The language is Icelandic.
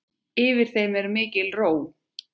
Yfir þeim er mikil ró.